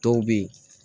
Dɔw bɛ ye